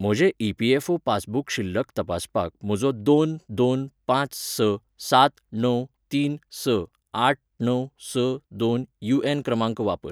म्हजें EPFO passbook शिल्लक तपासपाक म्हजो दोन दोन पांच स सात णव तीन स आठ णव स दोन यूएन क्रमांक वापर.